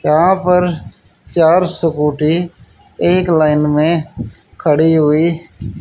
यहां पर चार स्कूटी एक लाइन में खड़ी हुई--